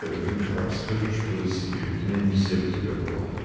вика расскажи что за секретная миссия у тебя была